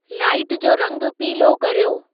light जो रंगु पीलो कर्यो